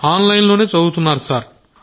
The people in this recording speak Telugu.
ఆన్లైన్లోనే చదువుతున్నారు సార్